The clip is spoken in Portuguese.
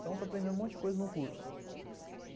Então, estou aprendendo um monte de coisa no curso.